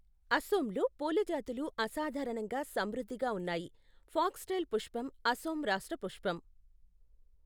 అసోమ్లో పూల జాతులు అసాధారణంగా సమృద్ధిగా ఉన్నాయి, ఫాక్స్టైల్ పుష్పం అసోమ్ రాష్ట్ర పుష్పం.